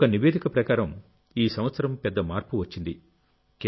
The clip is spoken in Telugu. ఒక నివేదిక ప్రకారంఈ సంవత్సరం పెద్ద మార్పు వచ్చింది